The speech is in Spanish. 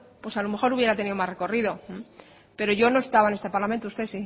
a lo mejor hubiera tenido más recorrido pero yo no estaba en este parlamento y usted